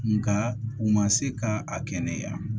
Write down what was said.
Nka u ma se ka a kɛnɛya